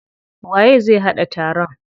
Waye zai haɗa taron?